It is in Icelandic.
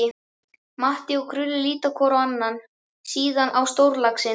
Matti og Krulli líta hvor á annan, síðan á stórlaxinn.